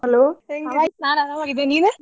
Hello.